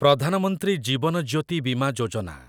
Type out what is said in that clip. Pradhan Mantri Jeevan Jyoti Bima Yojana